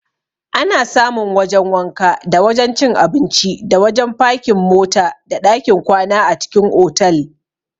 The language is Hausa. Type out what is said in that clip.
Ana samun wajan wanka, da wajan cin abinci, da wajan fakin mota, da ɗakin kwana a cikin otal.